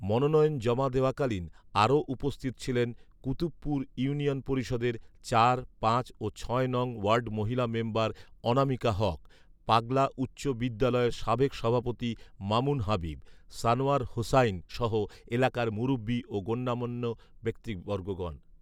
মনোনয়ন জমা দেওয়াকালীন আরও উপস্থিত ছিলেন কুতুবপুর ইউনিয়ন পরিষদের চার, পাঁচ ও ছয় নং ওয়ার্ড মহিলা মেম্বার অনামিকা হক, পাগলা উচ্চ বিদ্যালয়ের সাবেক সভাপতি মামুন হাবিব, সানোয়ার হোসাইন সহ এলাকার মুরুব্বি ও গণ্যমান্য ব্যক্তিবর্গগণ